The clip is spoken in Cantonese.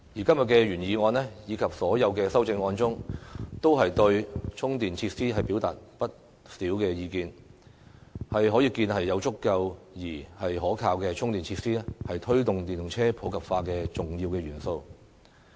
今天的原議案及修正案均對充電設施表達了不少意見，可見有足夠而可靠的充電設施，是推動電動車普及化的重要元素。